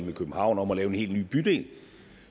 med københavn om at lave en helt ny bydel